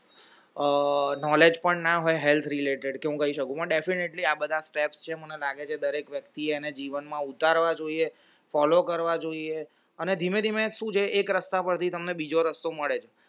આહ knowledge પણ ના હોય health related કે હું કય શકું હું definitely આ બધા steps છે મને લાગે છે ડેક વ્યક્તિ એ એને જીવન માં ઉતારવા જોઈએ follow કરવા જોઈએ અને ધીમે ધીમે શું છે એક રસ્તા ઉપર થી બીજો રસ્તો મળે